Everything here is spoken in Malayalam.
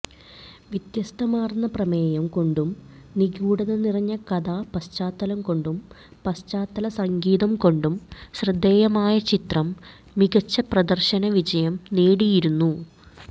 വ്യത്യസ്തമാർന്ന പ്രമേയം കൊണ്ടും നിഗൂഢത നിറഞ്ഞ കഥാപശ്ചാത്തലം കൊണ്ടും പശ്ചാത്തല സംഗീതം കൊണ്ടും ശ്രദ്ധേയമായ ചിത്രം മികച്ച പ്രദർശനവിജയം നേടിയിരുന്നു